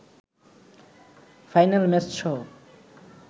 final ম্যাচসহ